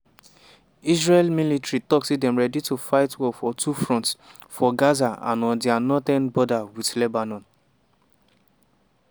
israel military tok say dem dey ready to fight war for two fronts: for gaza and on dia northern border wit lebanon.